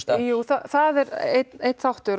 jú það er einn þáttur